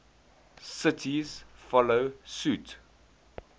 cities follow suit